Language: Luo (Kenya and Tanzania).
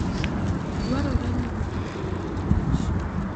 Dwarore ni jopur orit kich